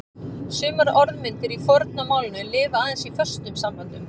Sumar orðmyndir í forna málinu lifa aðeins í föstum samböndum.